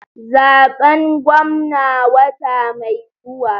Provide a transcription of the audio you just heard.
Zaben gwamna wata mai zuwa.